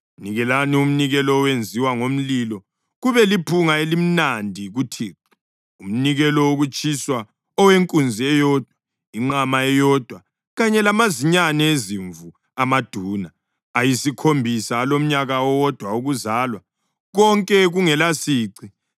Nikelani umnikelo owenziwe ngomlilo kube liphunga elimnandi kuThixo, umnikelo wokutshiswa owenkunzi eyodwa, inqama eyodwa kanye lamazinyane ezimvu amaduna ayisikhombisa alomnyaka owodwa wokuzalwa, konke kungelasici.